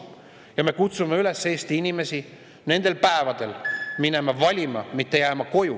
Ja me kutsume Eesti inimesi üles nendel päevadel minema valima, mitte jääma koju.